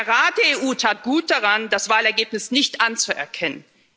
Der Rat der EU tat gut daran, das Wahlergebnis nicht anzuerkennen.